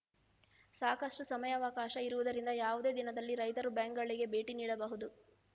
ಸಾಕಷ್ಟು ಸಮಯಾವಕಾಶ ಇರುವುದರಿಂದ ಯಾವುದೇ ದಿನದಲ್ಲಿ ರೈತರು ಬ್ಯಾಂಕ್‌ಗಳಿಗೆ ಭೇಟಿ ನೀಡಬಹುದು